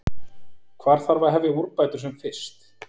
Hvar þarf að hefja úrbætur sem fyrst?